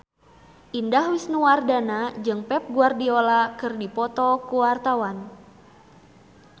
Indah Wisnuwardana jeung Pep Guardiola keur dipoto ku wartawan